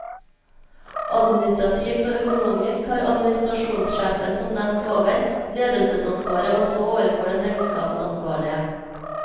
Administrativt og økonomisk har administrasjonssjefen, som nevnt over, ledelsesansvaret også overfor den regnskapsansvarlige.